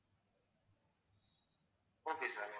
okay sir